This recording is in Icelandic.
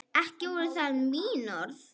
Ekki voru það mín orð!